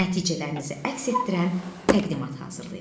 Nəticələrinizi əks etdirən təqdimat hazırlayın.